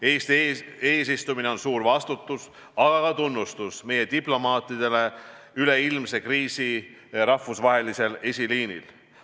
Eesti eesistumine on suur vastutus, aga ka tunnustus meie diplomaatidele üleilmse kriisi rahvusvahelisel eesliinil.